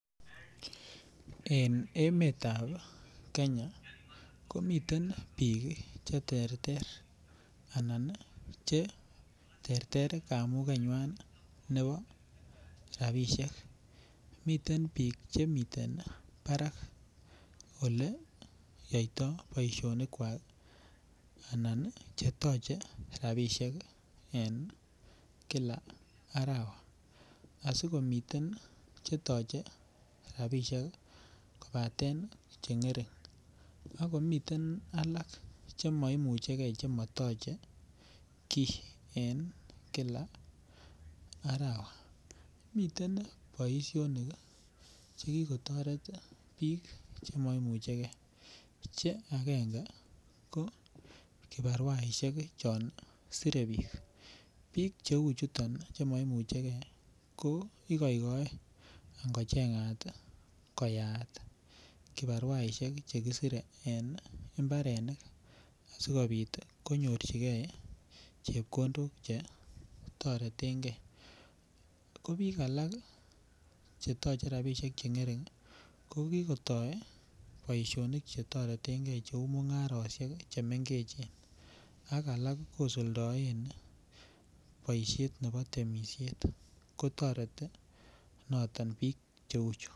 En emetab kenya komiten biik cheterter anan cheterter kamukenywan nebo rapisiek, miten biik chemiten parak oleyoito boisionikwak anan chetoche rapisiek en kila arawa asikomi chetoche rapisiek kobaten chengering, akomiten alak chemoimucheke chemotoche kii en kila arawa, miten boisionik chekikotoret biik chemoimucheke che akenge ko kibaruaisiek chon sire biik, biik cheu chuton chemomucheke kokoikoi angochengat koyaat kibaruasiek chekisire en mbarenik asikobit ii konyorchike chepkondok chetoretenge, kobiik alak chetoche rapisiek cheng'ering kokikotoi boisionik chetoretengei cheu mung'arosiek chemengechen ak alak kosuldoen boisiet nebo temisiet kotoreti noton biik cheuchu.